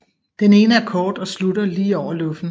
Den ene er kort og slutter lige over luffen